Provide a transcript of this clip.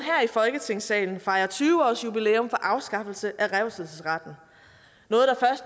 i folketingssalen fejre tyve årsjubilæum for afskaffelsen af revselsesretten